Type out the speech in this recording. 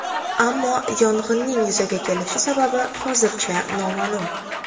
Ammo yong‘inning yuzaga kelish sababi hozircha noma’lum.